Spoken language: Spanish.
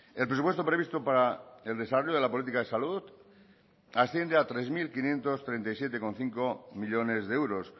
el presupuesto previsto para el desarrollo de la política de salud asciende a tres mil quinientos treinta y siete coma cinco millónes de euros